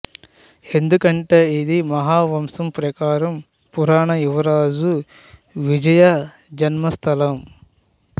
ఎందుకంటే ఇది మహావంశం ప్రకారం పురాణ యువరాజు విజయ జన్మస్థలం